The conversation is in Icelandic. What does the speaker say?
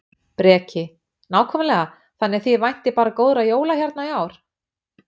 Breki: Nákvæmlega, þannig að þið væntið bara góðra jóla hérna í ár?